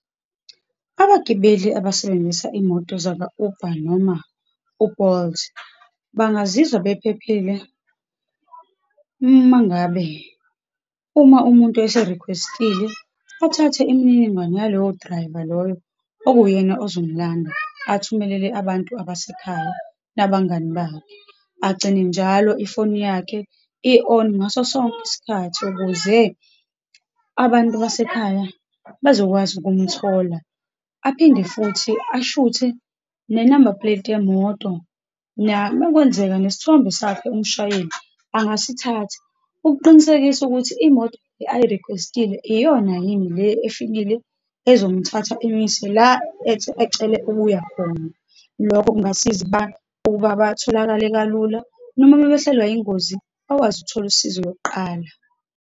Abagibeli abasebenzisa iy'moto zaka-Uber, noma u-Bolt, bangazizwa bephephile uma ngabe, uma umuntu ese-request-ile, athathe imininingwane yaloyo driver loyo, okuwuyena uzomlanda, athumelele abantu abasekhaya, nabangani bakhe, agcine njalo ifoni yakhe i-on ngaso sonke isikhathi, ukuze abantu abasekhaya bazokwazi ukumthola. Aphinde futhi ashuthe ne-number plate yemoto, nama kwenzeka nesithombe sakhe umshayeli angasithatha, ukuqinisekisa ukuthi imoto ayi-request-ile iyona yini le efikile ezomthatha, imise la ethi ecele ukuya khona. Lokhu kungasiza ukuba, ukuba batholakale kalula, noma uma behlelwa ingozi, bakwazi ukuthola usizo lokuqala.